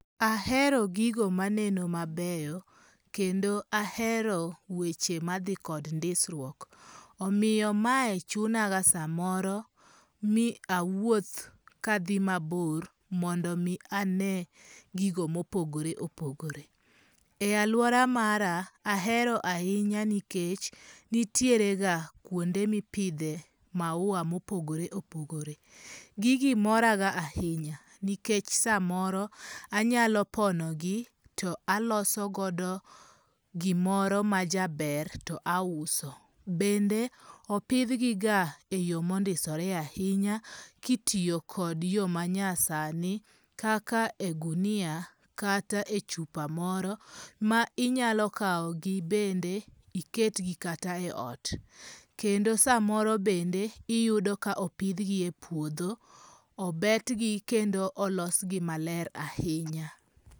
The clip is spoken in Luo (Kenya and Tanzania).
Ahero gigo maneno mabeyo, kendo ahero weche ma thi kod ndisruok omiyo mae chunaga samoro mi awuoth ka thi mabor mondo mi ane gigo mopogore opogore, e aluora mara ahero ahinya nikech nitiere ga kuonde mipithe maua mopogore opogore, gigi moraga ahinya nikech samoro anyalo ponogi to alosogo gimo majaber to auso, bende opithgiga e yo mondisore ahinya kitiyokodyo manyasani kaka ogunia kata e chupa moro ma inyalo kawogi bende iketgi kata e ot kendo samoro bende iyudo ka opthgi e puotho obetgi kendo olosgi maler ahinya.